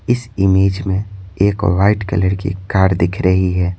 इस इमेज में एक वाइट कलर की कार दिख रही है।